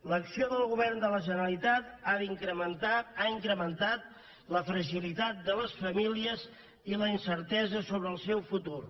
l’acció del govern de la generalitat ha incrementat la fragilitat de les famílies i la incertesa sobre el seu futur